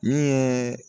Min ye